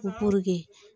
Ko